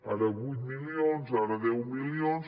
ara vuit milions ara deu milions